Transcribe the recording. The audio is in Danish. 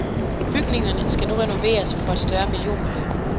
Bygningerne skal nu renoveres for et større millionbeløb.